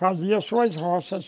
Fazia suas roças.